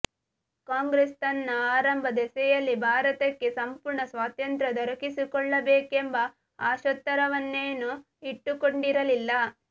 ಕಾಂಗ್ರೆಸ್ ತನ್ನ ಆರಂಭದೆಶೆಯಲ್ಲಿ ಭಾರತಕ್ಕೆ ಸಂಪೂರ್ಣ ಸ್ವಾತಂತ್ರ ದೊರಕಿಸಿಕ್ಕೊಳ್ಳಬೇಕೆಂಬ ಆಶೋತ್ತರವನ್ನೇನೂ ಇಟ್ಟುಕೊಂಡಿರಲಿಲ್ಲ